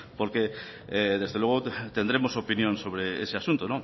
porque desde luego tendremos opinión sobre ese asunto